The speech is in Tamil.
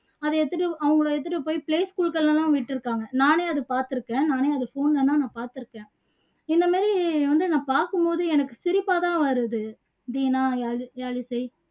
அதை எடுத்துட்டு அவங்களை எடுத்துட்டு போயி play school ல எல்லாம் விட்டுருக்காங்க நானே அதை பாத்துருக்கேன் நானே அதை phone ல எல்லாம் பாத்துருக்கேன் இந்த மாதிரி வந்து நான் பாக்கும் போது எனக்கு சிரிப்பா தான் வருது தீனா யாழ் யாழிசை